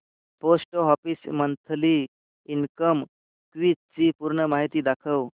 post office monthly income scheme ची पूर्ण माहिती दाखव